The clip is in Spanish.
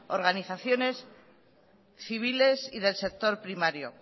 organizaciones civiles y del sector primario